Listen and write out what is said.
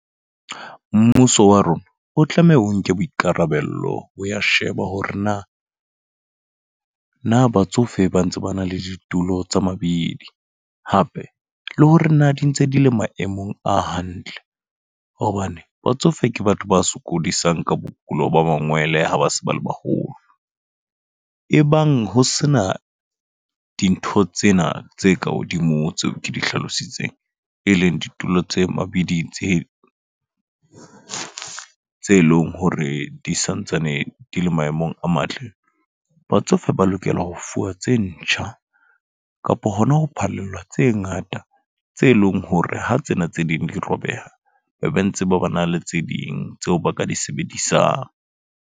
Mmuso wa rona o tlameha o nke boikarabelo hoya sheba hore na, na batsofe ba ntse ba na le ditulo tsa mabidi. Hape le hore na di ntse di le maemong a hantle. Hobane batsofe ke batho ba sokodisang ka bokulo ba mangwele ha ba se ba le baholo. Ebang ho sena dintho tsena tse ka hodimo tseo ke di hlalositseng, e leng ditulo tsa mabidi tse ding tse leng hore di santsane di le maemong a matle. Batsofe ba lokela ho fuwa tse ntjha, kapo hona ho phallelwa tse ngata. Tse leng hore ha tsena tse ding di robeha, ba be ntse ba ba na le tse ding tseo ba ka di sebedisang.